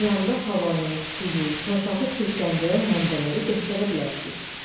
Planda havanı, suyu, torpağı çirkləndirən mənbələri göstərə bilərsiniz.